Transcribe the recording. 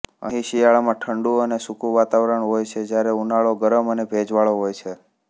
અહીં શિયાળામાં ઠંડું અને સૂકું વાતાવરણ હોય છે જ્યારે ઉનાળો ગરમ અને ભેજવાળો હોય છે